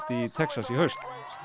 í Texas í haust